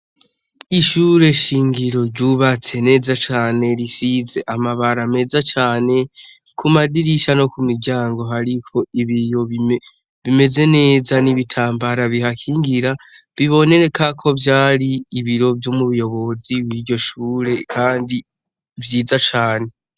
Ishure shingiro ryubatse neza cane risize amabara meza cane , kumadirisha no kumiryango hariko ibiyo bimeze neza n’ibitambara bihakingira biboneka ko vyari ibiro vy’umuyobozi w’iryo shure Kandi vyiza cane.